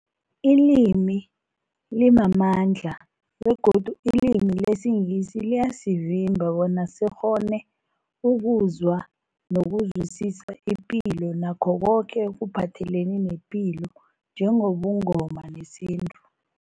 Ilimi limamandla begodu ilimi lesiNgisi liyasivimba bona sikghone ukuzwa nokuzwisisa ipilo nakho koke ekuphathelene nepilo njengobuNgoma nesintu.